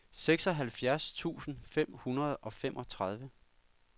seksoghalvfjerds tusind fem hundrede og femogtredive